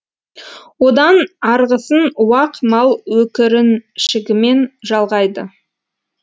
одан арғысын уақ мал өкіріншігімен жалғайды